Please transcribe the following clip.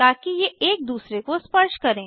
ताकि ये एक दूसरे को स्पर्श करें